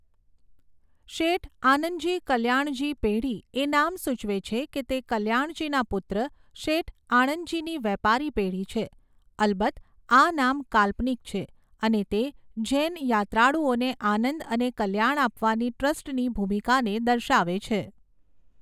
શેઠ આનંદજી કલ્યાણજી પેઢી એ નામ સૂચવે છે કે તે કલ્યાણજીના પુત્ર શેઠ આણંદજીની વેપારી પેઢી છે. અલબત્ત આ નામ કાલ્પનિક છે અને તે જૈન યાત્રાળુઓને આનંદ અને કલ્યાણ આપવાની ટ્રસ્ટની ભૂમિકાને દર્શાવે છે.